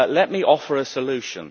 Let me offer a solution.